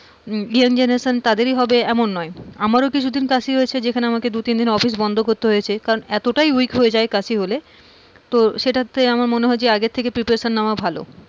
young generation তাদেরই হবে এমন নয় আমার কিছুদিন কাশি হয়েছে যেখানে আমাকে দুতিনদিন অফিস বন্ধ করতে হয়েছে কারণ এতটাই weak হয়ে যাই কাশি হলে তো সেটাতে আগে থেকে preparation নেওয়া ভালো।